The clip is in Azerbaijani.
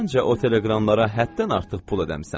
Məncə o teleqramlara həddən artıq pul ödəmisən.